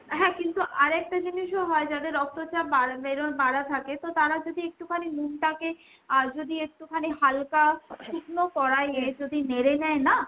হ্যাঁ কিন্তু আর একটা জিনিসও হয় যাদের রক্তচাপ বেড়ে বাড়া থাকে, তো তারা যদি একটুখানি নুনুটাকে আর যদি একটুখানি হালকা শুকনো যদি নেড়ে নেয় না,